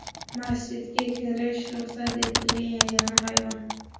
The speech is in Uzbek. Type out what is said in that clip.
Masjidga kirishi ruxsat etilgan yagona hayvon.